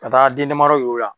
Ka taa den damadɔ yir'i o la.